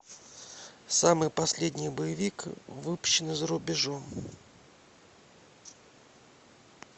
самый последний боевик выпущенный за рубежом